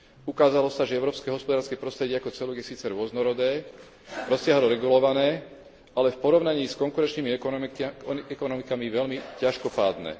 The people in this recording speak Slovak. Ukázalo sa, že európske hospodárske prostredie ako celok je síce rôznorodé, rozsiahlo regulované, ale v porovnaní s konkurenčnými ekonomikami veľmi ťažkopádne.